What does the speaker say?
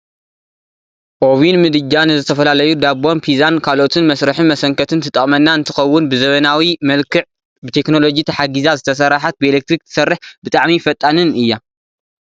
ኦቪን ምድጃ ንዝተፈላለዩ ዳቦን ፒዛን ካልኦትን መስርሕን መሰንከትን ትጠቅመና እንትከውን ብዘመናዊ መልክዕ ብቴክኖሎጂ ተሓጊዛ ዝተሰረሓት ብኤሌትሪክ ትሰርሕ ብጣዕሚ ፈጣንን እያ።